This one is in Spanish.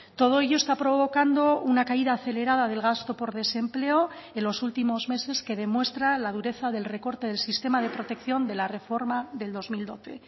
todo ello está provocando una caída acelerada del gasto por desempleo en los últimos meses que demuestra la dureza del recorte del sistema de protección de la reforma del dos mil doce